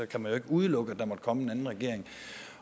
kan man ikke udelukke at der måtte komme en anden regering